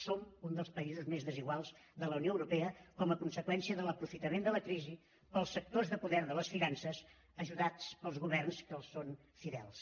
som un dels països més desiguals de la unió europea com a conseqüència de l’aprofitament de la crisi pels sectors de poder de les finances ajudats pels governs que els són fidels